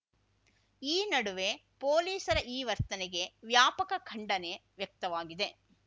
ಈ ನಡುವೆ ಪೊಲೀಸರ ಈ ವರ್ತನೆಗೆ ವ್ಯಾಪಕ ಖಂಡನೆ ವ್ಯಕ್ತವಾಗಿದೆ